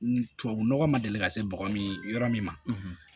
Tubabu nɔgɔ ma deli ka se bɔgɔ min yɔrɔ min ma